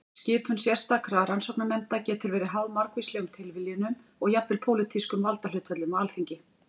Skipun sérstakra rannsóknarnefnda getur verið háð margvíslegum tilviljunum og jafnvel pólitískum valdahlutföllum á þingi.